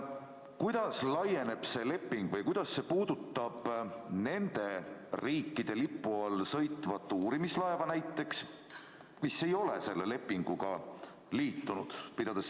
Kuidas laieneb see leping nendele riikidele või kuidas see puudutab näiteks nende riikide lipu all sõitvat uurimislaeva, mis ei ole selle lepinguga liitunud?